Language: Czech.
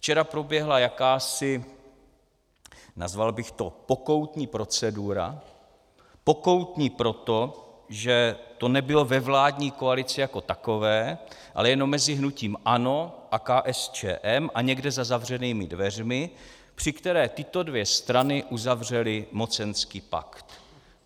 Včera proběhla jakási, nazval bych to pokoutní procedura - pokoutní proto, že to nebylo ve vládní koalici jako takové, ale jenom mezi hnutím ANO a KSČM a někde za zavřenými dveřmi -, při které tyto dvě strany uzavřely mocenský pakt.